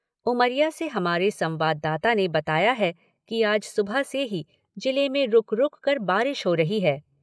उमरिया से हमारे संवाददाता ने बताया है कि आज सुबह से ही जिले में रूक रूककर बारिश हो रही है।